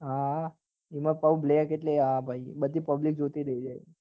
હા હા એમાય પાછુ black એટલે હા ભાઈ બધી public જોતી રહી જાય